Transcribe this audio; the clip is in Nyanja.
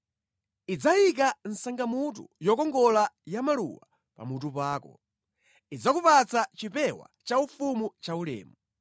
Idzayika sangamutu yokongola yamaluwa pamutu pako; idzakupatsa chipewa chaufumu chaulemu.”